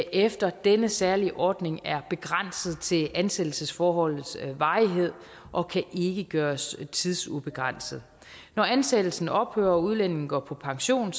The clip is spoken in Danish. efter denne særlige ordning er begrænset til ansættelsesforholdets varighed og kan ikke gøres tidsubegrænset når ansættelsen ophører og udlændingen går på pension